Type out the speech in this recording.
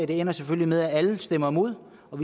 det ender selvfølgelig med at alle stemmer imod og